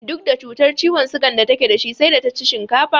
Duk da cutar ciwon sugan da take da shi sai da ta ci shinkafa